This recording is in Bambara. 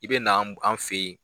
I bɛ na an fɛ yen.